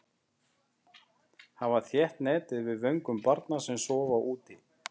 Hafa þétt net yfir vögnum barna sem sofa úti.